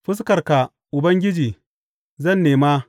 Fuskarka, Ubangiji, zan nema.